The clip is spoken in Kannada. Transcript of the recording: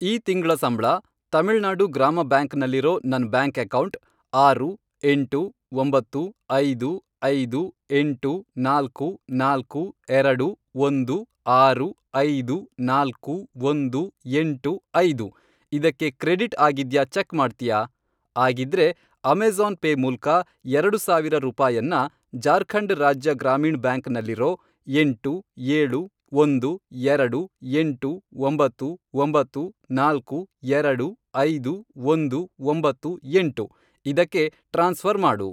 ಈ ತಿಂಗ್ಳ ಸಂಬ್ಳ ತಮಿಳ್ನಾಡು ಗ್ರಾಮ ಬ್ಯಾಂಕ್ ನಲ್ಲಿರೋ ನನ್ ಬ್ಯಾಂಕ್ ಅಕೌಂಟ್, ಆರು, ಎಂಟು, ಒಂಬತ್ತು, ಐದು, ಐದು, ಎಂಟು, ನಾಲ್ಕು, ನಾಲ್ಕು, ಎರಡು, ಒಂದು, ಆರು, ಐದು, ನಾಲ್ಕು, ಒಂದು, ಎಂಟು, ಐದು, ಇದಕ್ಕೆ ಕ್ರೆಡಿಟ್ ಆಗಿದ್ಯಾ ಚೆಕ್ ಮಾಡ್ತ್ಯಾ? ಆಗಿದ್ರೆ, ಅಮೇಜಾ಼ನ್ ಪೇ ಮೂಲ್ಕ ಎರಡು ಸಾವಿರ ರೂಪಾಯನ್ನ, ಜಾರ್ಖಂಡ್ ರಾಜ್ಯ ಗ್ರಾಮೀಣ್ ಬ್ಯಾಂಕ್ ನಲ್ಲಿರೋ, ಎಂಟು, ಏಳು, ಒಂದು, ಎರಡು, ಎಂಟು, ಒಂಬತ್ತು, ಒಂಬತ್ತು, ನಾಲ್ಕು, ಎರಡು, ಐದು, ಒಂದು, ಒಂಬತ್ತು, ಎಂಟು, ಇದಕ್ಕೆ ಟ್ರಾನ್ಸ್ಫ಼ರ್ ಮಾಡು.